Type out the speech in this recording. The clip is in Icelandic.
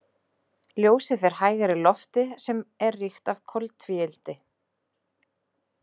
Ljósið fer hægar í lofti sem er ríkt af koltvíildi.